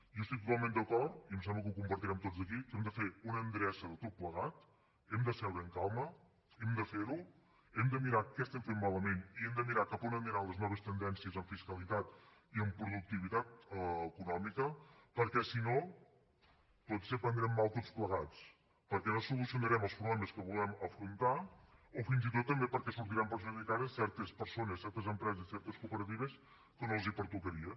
jo estic totalment d’acord i em sembla que ho compartirem tots aquí que hem de fer una endreça de tot plegat hem de seure amb calma hem de fer ho hem de mirar què estem fent malament i hem de mirar cap on aniran les noves tendències en fiscalitat i en productivitat econòmica perquè si no potser prendrem mal tots plegats perquè no solucionarem els problemes que volem afrontar o fins i tot també perquè sortiran perjudicades certes persones certes empreses certes cooperatives que no els pertocaria